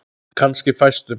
Kannski fæstum.